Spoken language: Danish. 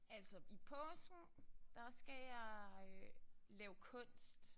Altså i påsken der skal jeg lave kunst